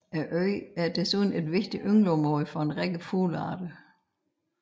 Øen er desuden et vigtigt yngleområde for en række fuglearter